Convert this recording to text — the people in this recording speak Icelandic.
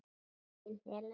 Þín Helena.